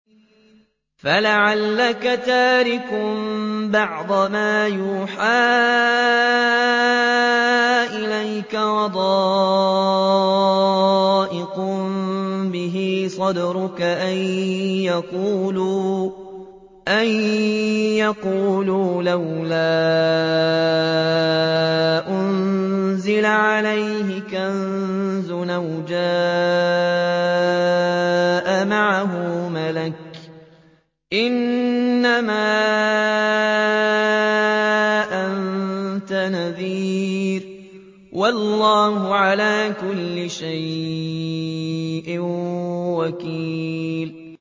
فَلَعَلَّكَ تَارِكٌ بَعْضَ مَا يُوحَىٰ إِلَيْكَ وَضَائِقٌ بِهِ صَدْرُكَ أَن يَقُولُوا لَوْلَا أُنزِلَ عَلَيْهِ كَنزٌ أَوْ جَاءَ مَعَهُ مَلَكٌ ۚ إِنَّمَا أَنتَ نَذِيرٌ ۚ وَاللَّهُ عَلَىٰ كُلِّ شَيْءٍ وَكِيلٌ